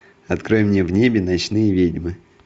открой мне в небе ночные ведьмы